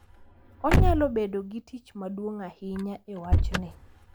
Onyalo bedo gi tich maduong’ ahinya e wachni.